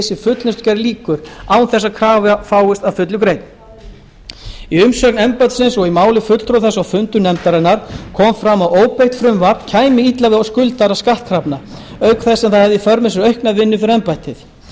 sem fullnustugerð lýkur án þess að krafa fáist að fullu greidd í umsögn embættisins og í máli fulltrúa þess á fundum nefndarinnar kom fram að óbreytt frumvarp kæmi illa við skuldara skattkrafna auk þess sem það hefði í för með sér aukna vinnu fyrir embættið